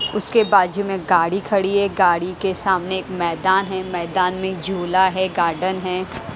उसके बाजू में गाड़ी खड़ी है गाड़ी के सामने एक मैदान है मैदान में झूला है गार्डन है।